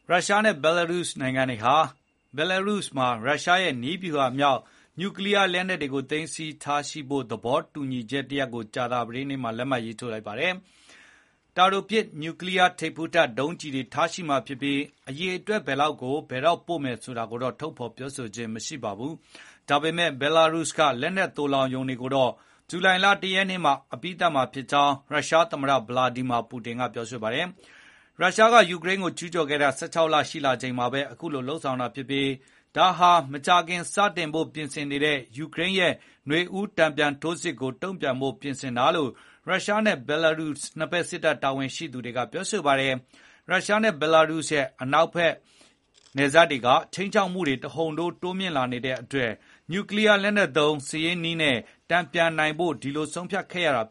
ရုရှားနဲ့ ဘီလာရုစ် နှစ်နိုင်ငံဟာ ဘီလာရုစ်မှာ ရုရှားရဲ့ နည်းဗျူဟာမြောက် နျူကလီးယားလက်နက်တွေကို သိမ်းဆည်းထားရှိမယ့် သဘောတူညီချက် တရပ်ကို ကြာသပတေးနေ့မှာ လက်မှတ်ရေးထိုးလိုက်ပါတယ်။ တာတိုပစ် နျူထိပ်ဖူးတပ် ဒုံးကျည်တွေ ထားရှိမှာဖြစ်ပြီး နျူလက်နက် ဘယ်လောက်များများ အိမ်နီးချင်း ဘီလာရုစ်မှာ ထားမလဲဆိုတာတော့ ထုတ်ပြန်ခြင်း မရှိပါဘူး။ ဒီလက်နက်တွေကို ဘယ်တော့ ပို့မလဲဆိုတာ မကြေညာသေးပေမယ့် ဘီလာရုစ်က သိုလှောင်ရုံတွေဟာ ဇူလိုင် ၁ ရက် မှာ အပြီးသတ်နိုင်မယ်ဖြစ်ကြောင်း ရုရှားသမ္မတ ဗလာဒီမီယာ ပူတင်က ပြောပါတယ်။ ရုရှားက ယူကရိန်းကို ကျူးကျော်ခဲ့တာ ၁၆ လ ရှိလာချိန်မှာပဲ အခုလို သဘောတူခဲ့တာ ဖြစ်ပါတယ်။ ဒါက မကြာခင် စတင်ဖို့ ပြင်ဆင်နေတဲ့ ယူကရိန်းရဲ့ နွေဦး တန်ပြန်ထိုးစစ်ကြီးကို တုံ့ပြန် ပြင်ဆင်တာလို့ ရုရှားနဲ့ ဘီလာရုစ် နှစ်ဖက် စစ်တပ် တာဝန်ရှိသူတွေက ပြောပါတယ်။ “ရုရှားနဲ့ ဘီလာရုစ်ရဲ့ အနောက်ဘက်နယ်စပ်တွေက ခြိမ်းခြောက်မှုတွေ တဟုန်ထိုး တိုးလာနေလို့ နျူကလီးယားလက်နက်သုံး စစ်ရေးနည်းနဲ့ တန်ပြန်နိုင်ဖို့ ဒီလို ဆုံးဖြတ်ခဲ့ရတာ”